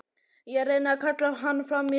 Ég reyni að kalla hann fram í hugann.